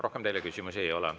Rohkem teile küsimusi ei ole.